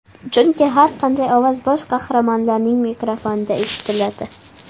Chunki har qanday ovoz bosh qahramonlarning mikrofonida eshitiladi.